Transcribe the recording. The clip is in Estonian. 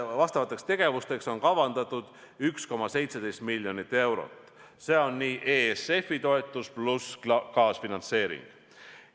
Vastavaks tegevuseks on kavandatud 1,17 miljonit eurot, see on ESF-i toetus pluss kaasfinantseering.